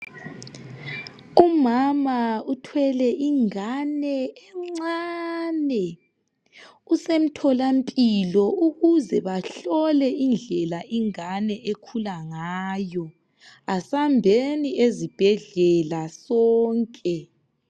Umama uthwele ingane encane, usemthola mpilo ukuze bahlole indlela ingane ekhula ngayo asambeni ezibhedlela sonke.